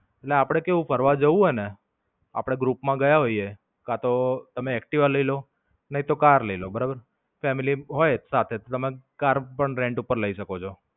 ને, આપડે કેવું ફરવા જવું હોય ને, આપડે ગ્રુપ માં ગયા હોઈએ કા તો તમે એક્ટિવા લઇ લો નઈતો કાર લઇ લો બરાબર. family હોય એક સાથે તો તમે કાર પણ rant પર લઇ શકો છો.